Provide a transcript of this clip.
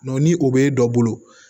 ni o bɛ dɔ bolo